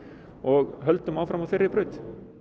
og höldum áfram á þeirri braut